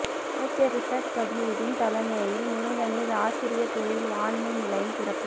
அமைச்சர் ரிஷாட் பதியுதீன் தலைமையில் முருங்கனில் ஆசிரிய தொழில் வாண்மை நிலையம் திறப்பு